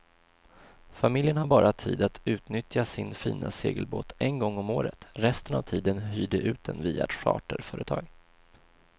Familjen har bara tid att utnyttja sin fina segelbåt en gång om året, resten av tiden hyr de ut den via ett charterföretag.